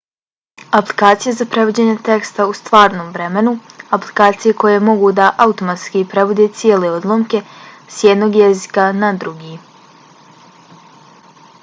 aplikacije za prevođenje teksta u stvarnom vremenu - aplikacije koje mogu da automatski prevode cijele odlomke s jednog jezika na drugi